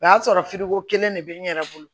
O y'a sɔrɔ ko kelen de bɛ n yɛrɛ bolo